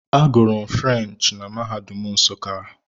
Agụrụ m French na mahadum nsuka.